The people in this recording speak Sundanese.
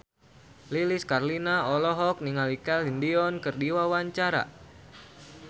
Lilis Karlina olohok ningali Celine Dion keur diwawancara